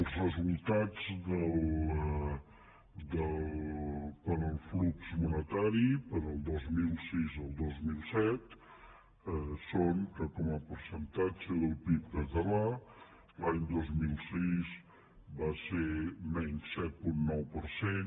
els resultats per al flux monetari del dos mil sis al dos mil set són que com el percentatge del pib català l’any dos mil sis va ser menys set coma nou per cent